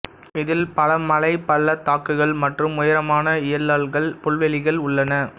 இதில் பல மலை பள்ளத்தாக்குகள் மற்றும் உயரமான யெய்லாக்கள் புல்வெளிகள் உள்ளன